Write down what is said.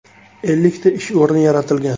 Ellikta ish o‘rni yaratilgan.